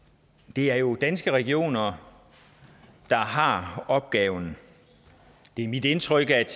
det er jo danske regioner der har opgaven det er mit indtryk at